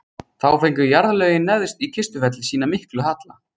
Þá fengu jarðlögin neðst í Kistufelli sinn mikla halla.